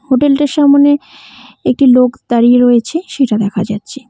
Hotel টির সামোনে একটি লোক দাঁড়িয়ে রয়েছে সেইটা দেখা যাচ্ছে।